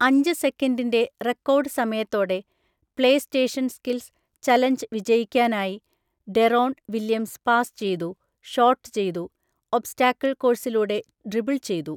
അഞ്ച് സെക്കൻഡിന്റെ റെക്കോർഡ് സമയത്തോടെ പ്ലേസ്റ്റേഷൻ സ്‌കിൽസ് ചലഞ്ച് വിജയിക്കാനായി ഡെറോൺ വില്യംസ് പാസ് ചെയ്തു, ഷോട്ട് ചെയ്തു, ഒബ്‌സ്റ്റാക്കിൾ കോഴ്‌സിലൂടെ ഡ്രിബിൾ ചെയ്തു.